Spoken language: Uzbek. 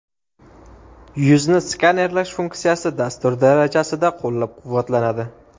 Yuzni skanerlash funksiyasi dastur darajasida qo‘llab-quvvatlanadi.